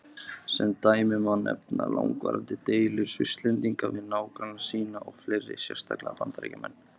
Sem dæmi má nefna langvarandi deilur Svisslendinga við nágranna sína og fleiri, sérstaklega Bandaríkjamenn.